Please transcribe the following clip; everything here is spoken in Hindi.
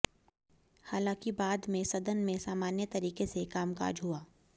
हालांकि बाद में सदन में सामान्य तरीके से कामकाज हुआ